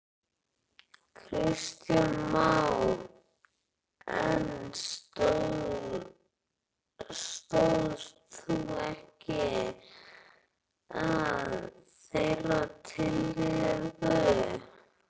Kristján Már: En stóðst þú ekki að þeirri tillögu?